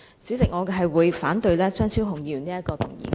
主席，我反對張超雄議員的議案。